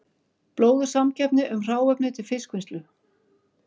Blóðug samkeppni um hráefni til fiskvinnslu